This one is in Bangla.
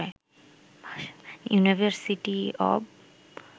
university of